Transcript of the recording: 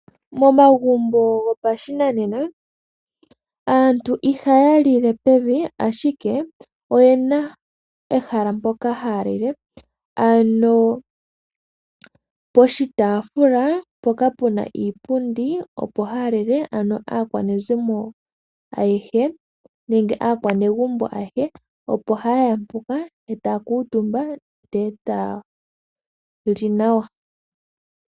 Momagumbo gopashinanena aantu ihaya lile peve, ihe oyena ehala mpoka haya lile poshitaafula mpoka puna iipundi. Opo haya lile aakwanezimo ayehe nenge aakwanegumbo opo hayeya mpoka etayali ayehe.